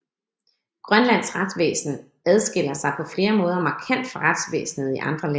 Grønlands retsvæsen adskiller sig på flere måder markant fra retsvæsenet i andre lande